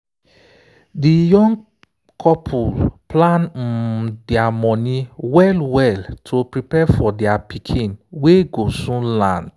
de young couple plan um their money well well to prepare for their pikin wey go soon land.